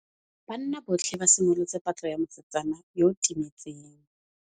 Banna botlhê ba simolotse patlô ya mosetsana yo o timetseng.